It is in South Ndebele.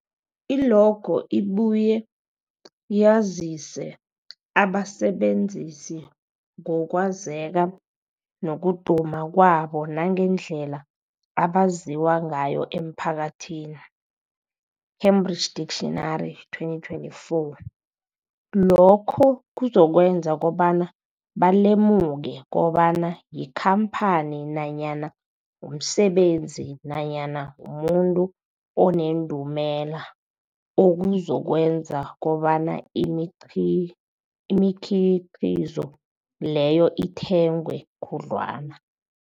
I-logo ibuye yazise abasebenzisi ngokwazeka nokuduma kwabo nangendlela abaziwa ngayo emphakathini, Cambridge Dictionary 2024. Lokho kuzokwenza kobana balemuke kobana yikhamphani nanyana umsebenzi nanyana umuntu onendumela, okuzokwenza kobana imiqhi imikhiqhizo leyo ithengwe khudlwana.